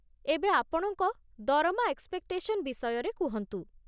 ଏବେ ଆପଣଙ୍କ ଦରମା ଏକ୍ସ୍‌ପେକ୍‌ଟେସନ୍ ବିଷୟରେ କୁହନ୍ତୁ ।